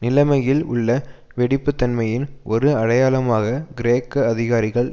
நிலைமையில் உள்ள வெடிப்புத்தன்மையின் ஒரு அடையாளமாக கிரேக்க அதிகாரிகள்